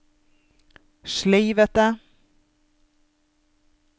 sleivete